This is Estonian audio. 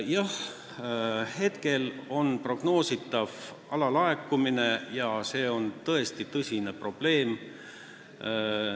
Jah, praegu on prognoositav alalaekumine ja see on tõesti tõsine probleem.